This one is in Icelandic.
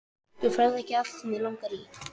Þú færð ekki allt sem þig langar í!